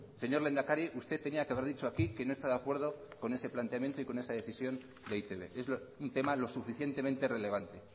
señor lehendakari usted tenía que haber dicho aquí que no está de acuerdo con ese planteamiento y con esa decisión de e i te be es un tema lo suficientemente relevante